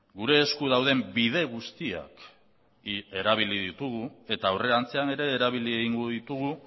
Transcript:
gure esku dauden bide guztiak erabili ditugu eta aurrerantzean ere erabili egingo ditugu